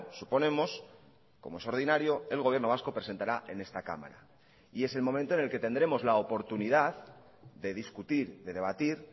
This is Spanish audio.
suponemos como es ordinario el gobierno vasco presentará en esta cámara y es el momento en el que tendremos la oportunidad de discutir de debatir